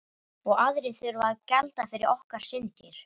Og aðrir þurfa að gjalda fyrir okkar syndir.